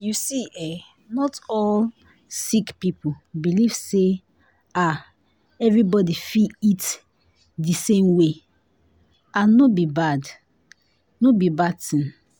you see eh not be all sick people believe say ah everybody fit eat di same way and no be bad no be bad tin.